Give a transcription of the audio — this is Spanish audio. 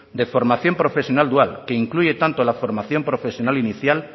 de formación profesional dual que incluye tanto la formación profesional inicial